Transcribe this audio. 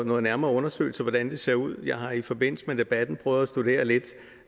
nogle nærmere undersøgelser af hvordan det ser ud jeg har i forbindelse med debatten prøvet at studere lidt